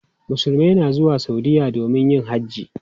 Musulmai na zuwa Saudiya domin yin hajji.